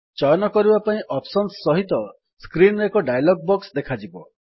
ଚୟନ କରିବା ପାଇଁ ଅପ୍ସନ୍ସ ସହିତ ସ୍କ୍ରିନ୍ ରେ ଏକ ଡାୟଲଗ୍ ବକ୍ସ ଦେଖାଯିବ